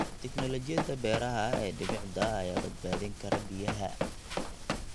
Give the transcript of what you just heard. Tiknoolajiyada beeraha ee dhibicda ayaa badbaadin kara biyaha.